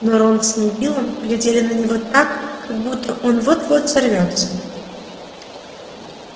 но рон с невиллом глядели на него так как будто он вот-вот взорвётся